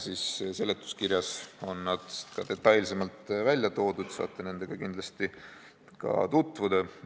Seletuskirjas on need detailsemalt välja toodud, saate nendega kindlasti tutvuda.